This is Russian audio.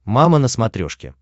мама на смотрешке